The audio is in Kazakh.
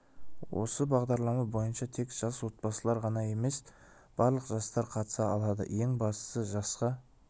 осы бағдарлама бойынша тек жас отбасылар ғана емес барлық жастар қатыса алады ең бастысы жасқа